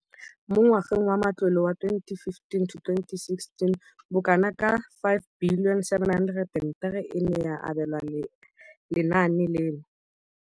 Mo ngwageng wa matlole wa 2015,16, bokanaka R5 703 bilione e ne ya abelwa lenaane leno.